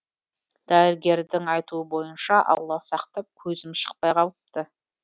дәрігердің айтуы бойынша алла сақтап көзім шықпай қалыпты